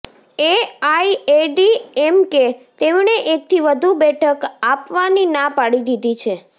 AIADMK તેમણે એકથી વધુ બેઠક આપવાની ના પાડી દીધી છે